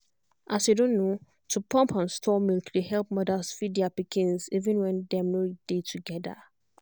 as you don know to pump and store milk dey help mothers feed their pikins even when dem nor dey together.